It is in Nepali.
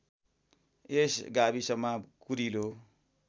यस गाविसमा कुरिलो